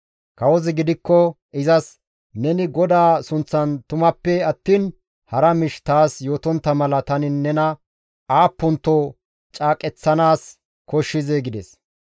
Kawozi gidikko izas, «Neni GODAA sunththan tumappe attiin hara miish taas yootontta mala tani nena aappunto caaqeththanaas koshshizee?» gides.